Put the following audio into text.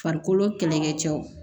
Farikolo kɛlɛkɛ cɛw